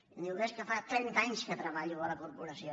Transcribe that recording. i em diu bé és que fa trenta anys que treballo a la corporació